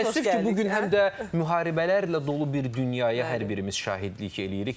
Təəssüf ki, bu gün həm də müharibələrlə dolu bir dünyaya hər birimiz şahidlik eləyirik.